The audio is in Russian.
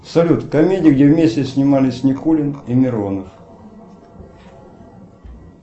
салют комедия где вместе снимались никулин и миронов